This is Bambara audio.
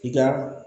I ka